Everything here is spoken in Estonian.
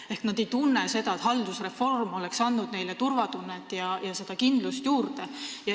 Ehk nad ei tunne, et haldusreform oleks andnud neile turvatunnet ja kindlust juurde.